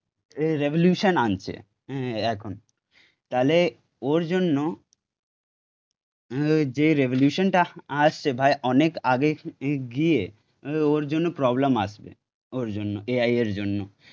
revolution আনছে এ এখন তাহলে ওর জন্য যে রেভলিউশনটা আসছে ভাই অনেক আগে গিয়ে ওর জন্য প্রবলেম আসবে ওর জন্য এআই এর জন্য